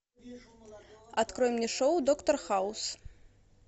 открой мне шоу доктор хаус